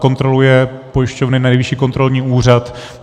Kontroluje pojišťovny Nejvyšší kontrolní úřad.